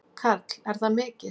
Karl: Er það mikið?